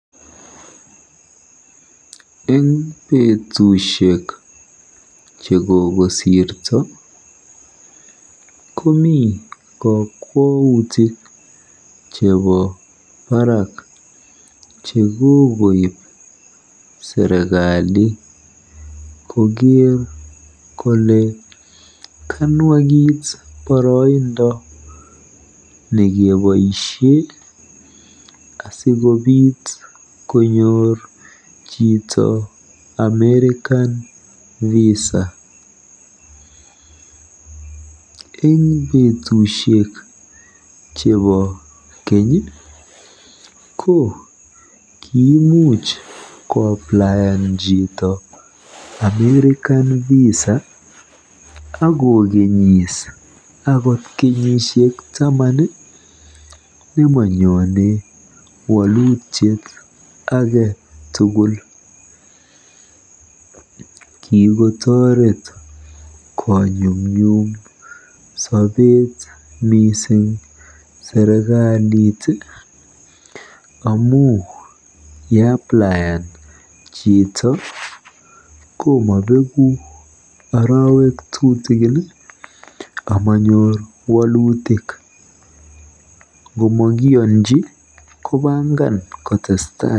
Eng betusiek chekokosirto komii kokwautik chebo barak chekokib serikali koker kole kanwakit boroindo nekeboisien asikobit konyor chito American visa en betusiek chebo keny ko kiimuch koapplien chito American Visa akogenis akot kenyisiek taman ii namonyone wolutiet agetugul kikotoret konyumnyum sobet missing serikalit amun ye applien chito komobeguk arowek tutikin amonyor wolutik ng'omakiyonji kopangan kotestai.